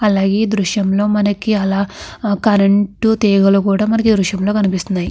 అలాగే ఈ దృశ్యం లో మనకి అలా కరెంట్ తీగలు కూడా మనకి ఈ దృశ్యం లో కనిపిస్తున్నాయి.